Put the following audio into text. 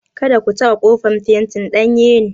Kada ku taɓa ƙofar; fentin danye ne!